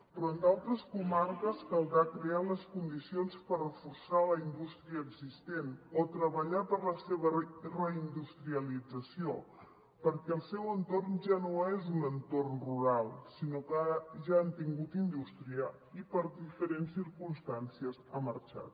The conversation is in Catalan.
però en d’altres comarques caldrà crear les condicions per reforçar la indústria existent o treballar per la seva reindustrialització perquè el seu entorn ja no és un entorn rural sinó que ja han tingut indústria i per diferents circumstàncies ha marxat